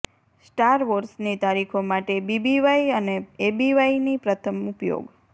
star વોર્સની તારીખો માટે બીબીવાય અને એબીવાયની પ્રથમ ઉપયોગ